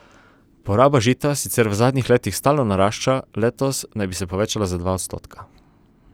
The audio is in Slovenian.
Poraba žita sicer v zadnjih letih stalno narašča, letos naj bi se povečala za dva odstotka.